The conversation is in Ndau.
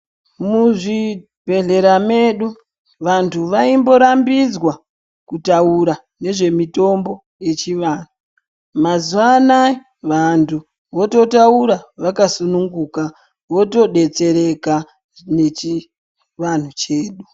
Muzvibhedhlera medu vanthu vaimborambidzwa kutaura nezvemitombo yechivanhu mazuwa anaa vanthu vototaura vakasununguka votodetsereka nechivanhu chedu.